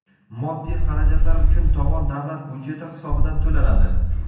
Moddiy xarajatlar uchun tovon davlat byudjeti hisobidan to‘lanadi.